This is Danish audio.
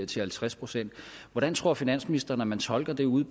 til halvtreds procent hvordan tror finansministeren at man tolker det ude